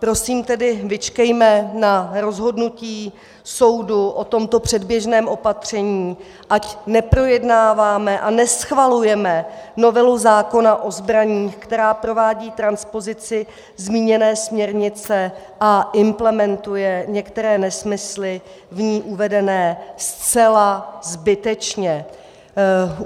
Prosím tedy, vyčkejme na rozhodnutí soudu o tomto předběžném opatření, ať neprojednáváme a neschvalujeme novelu zákona o zbraních, která provádí transpozici zmíněné směrnice a implementuje některé nesmysly v ní uvedené, zcela zbytečně.